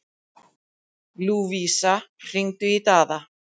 Lúvísa, hringdu í Daða.